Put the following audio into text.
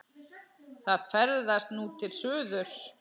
Það ferðast nú til suðurs.